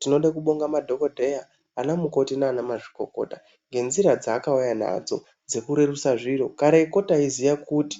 Tinode kubonga madhokodheya ana mukoti nana mazvikokota nge nzira dzaakauya nadzo dzeku rerusa zviro kareko taiziya kuti